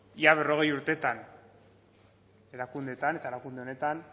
ia berrogei urtetan erakundeetan eta erakunde honetan